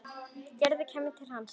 Gerður kæmi aftur til hans.